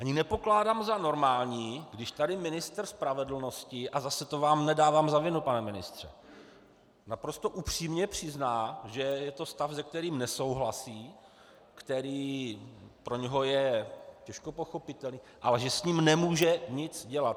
Ani nepokládám za normální, když tady ministr spravedlnosti - a zase, to vám nedávám za vinu, pane ministře - naprosto upřímně přizná, že je to stav, se kterým nesouhlasí, který pro něho je těžko pochopitelný, ale že s ním nemůže nic dělat.